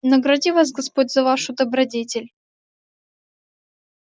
награди вас господь за вашу добродетель